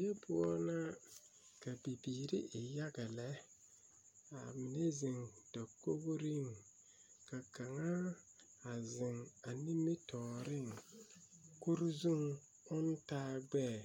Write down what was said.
Die poɔ la ka bibiiri e yaga lɛ ka mine ziŋ dakogreŋ ka kaŋa a ziŋ a nimitɔɔriŋ kure zuŋ oŋ taa gbɛɛ